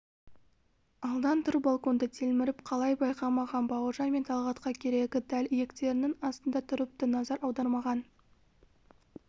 алдан тұр балконда телміріп қалай байқамаған бауыржан мен талғатқа керегі дәл иектерінің астында тұрыпты назар аудармаған